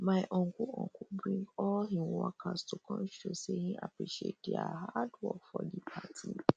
my uncle uncle bring all him workers to come show say him appreciate dia hard work for di party